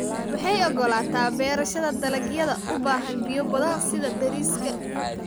Waxay ogolaataa beerashada dalagyada u baahan biyo badan sida bariiska.